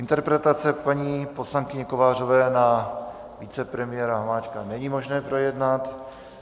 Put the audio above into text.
Interpelaci paní poslankyně Kovářové na vicepremiéra Hamáčka není možné projednat.